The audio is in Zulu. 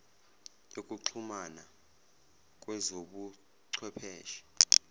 yokuxhumana kwezobu chwepheshe